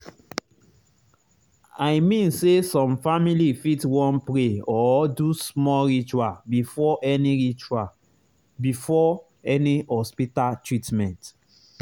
i mean say some family fit wan pray or do small ritual before any ritual before any hospita treatment